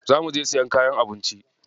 Za muje siyan kayan abinci.